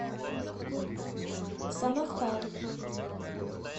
самохвал